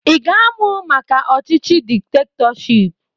Ị ga-amụ maka ọchịchị diktetọship?